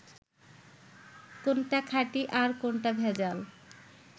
কোনটা খাঁটি আর কোনটা ভেজাল